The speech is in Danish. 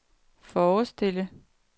forestille